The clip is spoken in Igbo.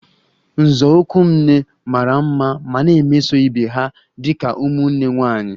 Nzọụkwụ m nne mara mma ma na-emeso ibe ha dị ka ụmụnne nwanyị